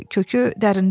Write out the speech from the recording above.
Kökü dərindədir.